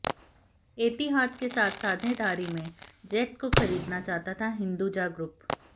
एतिहाद के साथ साझेदारी में जेट को खरीदना चाहता था हिंदुजा ग्रुप